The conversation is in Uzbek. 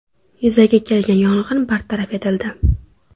Yuzaga kelgan yong‘in bartaraf etildi.